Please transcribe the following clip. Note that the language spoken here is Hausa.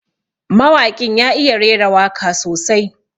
Mawaƙin ya iya rera waka sosai.